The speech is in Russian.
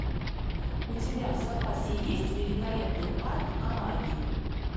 у тебя в запасе есть великолепный парк амаги